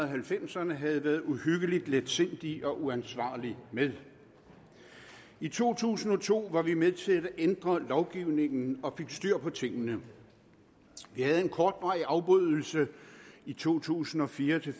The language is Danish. halvfemserne havde været uhyggelig letsindig og uansvarlig med i to tusind og to var vi med til at ændre lovgivningen og fik styr på tingene vi havde en kortvarig afbrydelse i to tusind og fire til